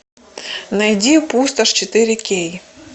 найди пустошь четыре кей